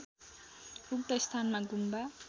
उक्त स्थानमा गुम्बा